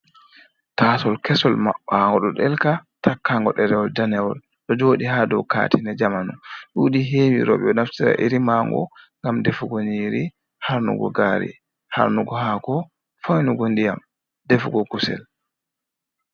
Taasol kesol maɓɓango ɗo ɗelka takkango ɗerewol danewol ɗo joɗi ha dow katine nde zamanu. Ɗuɗi hewi roɓe ɗo naftira iri maango ngam defugo nyiri, harnugo gari, harnugo haako, foinugo ndiyam, defugo kusel.